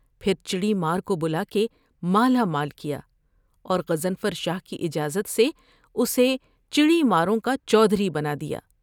پھر چڑی مار کو بلا کے مالا مال کیا اور غضنفر شاہ کی اجازت سے اسے چڑی ماروں کا چودھری بنا دیا ۔